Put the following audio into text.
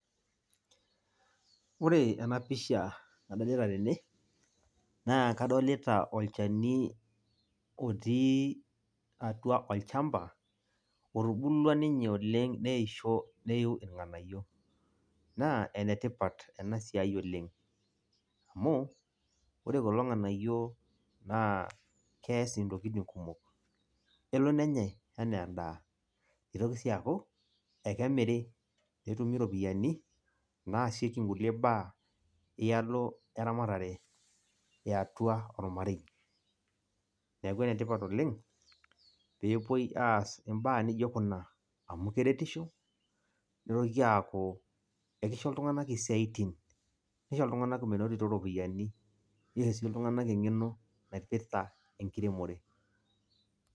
Ore enapisha nadolita tene, naa kadolita olchani otii atua olchamba, otubulua ninye oleng neisho neiu irng'anayio. Naa enetipat enasiai oleng, amuu, ore kulo ng'anayio naa kees intokiting kumok. Elo nenyai enaa endaa. Nitoki si aaku, ekemiri netumi iropiyiani, naasieki nkulie baa ialo eramatare eatua ormarei. Neeku enetipat oleng, pepoi aas imbaa nijo kuna, amu keretisho, nitoki aaku ekisho iltung'anak isiaitin. Nisho iltung'anak menotito iropiyiani. Nisho si iltung'anak eng'eno naipirta, enkiremore.